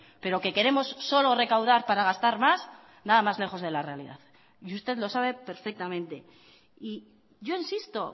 pero que queremos solo recaudar para gastar más nada más lejos de la realidad y usted lo sabe perfectamente y yo insisto